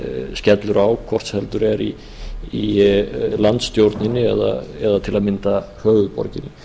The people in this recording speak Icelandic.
skellur á hvort heldur er í landsstjórninni eða til að mynda höfuðborginni